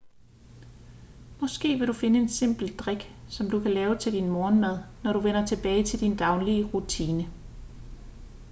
måske vil du finde en simpel drik som du kan lave til din morgenmad når du vender tilbage til din daglige rutine